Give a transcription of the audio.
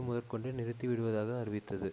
முதற்கொண்டு நிறுத்திவிடுவதாக அறிவித்தது